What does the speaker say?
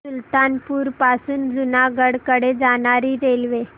सुल्तानपुर पासून जुनागढ कडे जाणारी रेल्वे